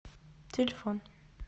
телефон